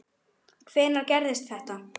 Hvenær gerðist þetta?